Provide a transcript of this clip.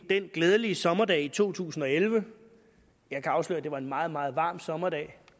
den glædelige sommerdag i to tusind og elleve jeg kan afsløre at det var en meget meget varm sommerdag